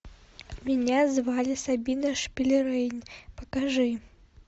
меня звали сабина шпильрейн покажи